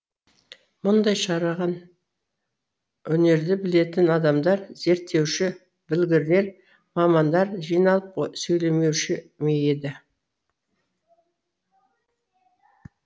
мұндай шараған өнерді білетін адамдар зерттеуші білгірлер мамандар жиналып сөйлемеуші ме еді